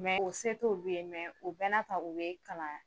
Mɛ o se t'olu ye mɛ u bɛ n'a ta o ye kalan